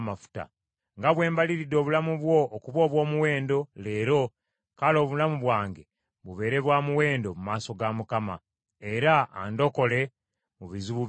Nga bwe mbaliridde obulamu bwo okuba obw’omuwendo leero, kale obulamu bwange bubeere bwa muwendo mu maaso ga Mukama , era andokole mu bizibu byonna.”